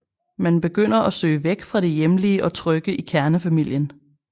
Man begynder at søge væk fra det hjemlige og trygge i kernefamilien